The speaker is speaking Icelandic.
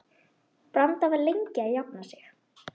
Branda var lengi að jafna sig.